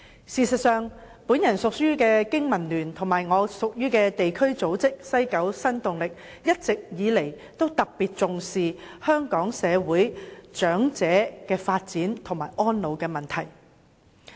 事實上，我隸屬的香港經濟民生聯盟及地區組織西九新動力，一直以來均特別重視香港社會的長者發展和安老問題。